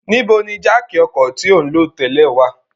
Nibo ni jáákí ọkọ ti o nlo tẹlẹ wa?